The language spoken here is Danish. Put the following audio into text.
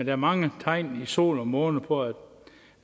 er mange tegn i sol og måne på